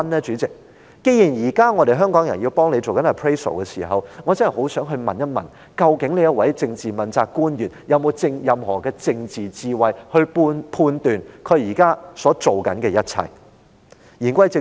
主席，既然現時香港人正在為他做 appraisal， 我便很想問一問：究竟這位政治問責官員有否任何政治智慧，判斷自己所做的一切是否正確呢？